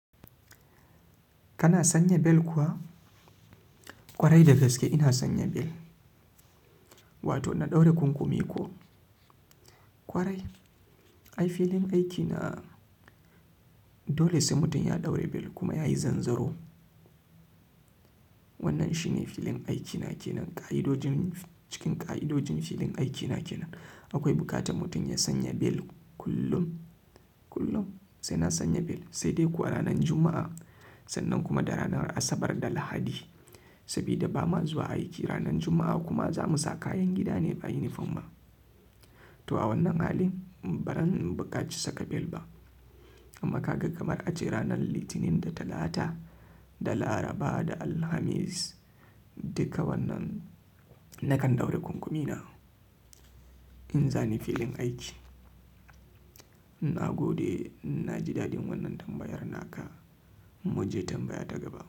Kana sanya bel kuwa? Kwarai da gaske ina sanya bel, wato in na ɗaura kunkumi ko? Kwarai, ai filin aikina dole sai mutum ya ɗaura bel kuma yayi zanzaro. Wannan shi ne filin aikina ke nan ka'idojin. Cikin ƙa'idojin filin aikina ke nan. Akwai buƙatar mutum ya sanya bel kullum, kullum sai na sanya bel sai dai ko a ranan Juma'a sannan kuma da ranar Asabar da Lahadi. Sabida ba ma zuwa aiki ranar Juma'a kuma za mu sa kayan gida ne ba unifom ba. To a wannan hali, baran buƙaci saka bel ba. Amma kaga kamar ace ranar Litinin da Talata da Laraba da Alhamis duka wannan nakan daura kunkumi na in zani filin aiki na gode na ji daɗin wannan tambayar naka. Mu je tambaya ta gaba.